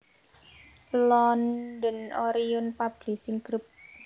London Orion Publishing Group